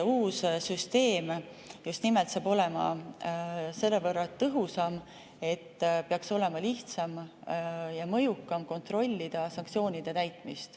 Uus süsteem just nimelt saab olema selle võrra tõhusam ja mõjukam, et peaks olema lihtsam kontrollida sanktsioonide täitmist.